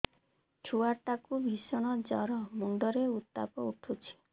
ଛୁଆ ଟା କୁ ଭିଷଣ ଜର ମୁଣ୍ଡ ରେ ଉତ୍ତାପ ଉଠୁଛି